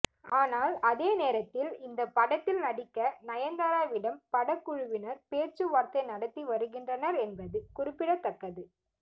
ஆனால் அதே நேரத்தில் இந்த படத்தில் நடிக்க நயன் தாராவிடம் படக்குழுவினர் பேச்சுவார்த்தை நடத்தி வருகின்றனர் என்பது குறிப்பிடத்தக்கது